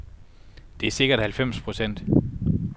Det er sikkert halvfems procent.